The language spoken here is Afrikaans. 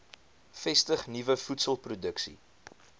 vestig nuwe voedselproduksie